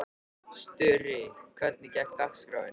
Sturri, hvernig er dagskráin?